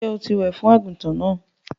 Sọ tí wẹ̀ fún àgùntàn náà?